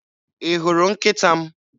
Ị hụrụ nkịta m?